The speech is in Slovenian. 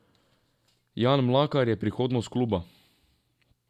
Jan Mlakar je prihodnost kluba.